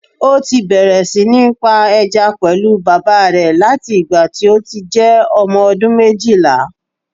Ó ti bẹ̀rẹ̀ sí ní ń pa ẹja pẹ̀lú bàbà rẹ̀ láti ìgbà tí ó ti jẹ́ ọmọ ọdún méjìlá